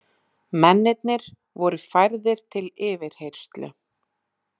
Mennirnir voru færðir til yfirheyrslu